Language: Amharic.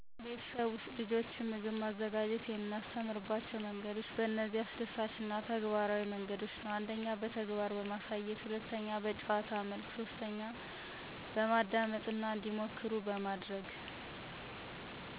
ቤተሰብ ውስጥ ምግብ ማዘጋጀት የምናስተምራቸው መንገዶች በእነዚህ አስደሳች እና ተግባራዊ መንገዶች ነው። 1, በተግባራዊ ማሳያት (እጅን ይዘው በማሳየት) • ልጆች ከ3 ዓመት ጀምሮ ቀላል ስራዎችን ማስተማር፣ ለምሳሌ፦ • ዱቄት መለየት (ለእንጀራ) • ቅመማ ቅመሞችን መጨመር • ሰላጤ መቀላቀል • "እዚህ አይተህ፣ እንዲህ በማድረግ..." በማለት ማስተማራ። 2, በጨዋታ መልክ ምግብ አዘጋጀትን አስደሳች በማድረግና አያቶች ምግብ ሲያዘጋጁ ታሪኮችን ይነግራሉ ስለዚህ በዚያ መልክ ማስተማር። 3, በማዳመጥ እና መሞከር • ልጆች ምግብ ሲያበስሉ ስህተት እንዲያደርጉ ይፈቀድላቸዋል • "ዛሬ ጨው በዛበት፣ ግን ይህ እንዴት እንደሚስተካከል ማስተማርና "ምክናያታዊ ማብራሪያ በመስጠ ማስተማሩ ይቻላል።